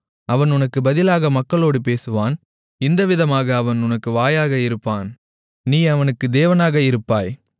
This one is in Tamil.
அவன் உனக்குப் பதிலாக மக்களோடு பேசுவான் இந்தவிதமாக அவன் உனக்கு வாயாக இருப்பான் நீ அவனுக்கு தேவனாக இருப்பாய்